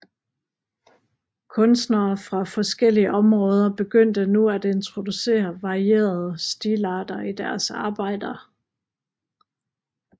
Kunstnere fra forskellige områder begyndte nu at introducere varierede stilarter i deres arbejder